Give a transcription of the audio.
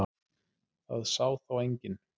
Það sá þá enginn.